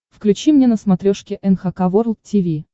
включи мне на смотрешке эн эйч кей волд ти ви